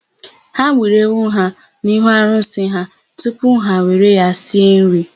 Ha gburu ewu ha n'ihu arụsị ha tupu ha were ya sie nri.